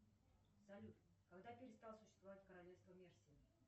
салют когда перестало существовать королевство мерси